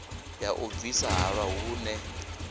ya u bvisa halwa vhune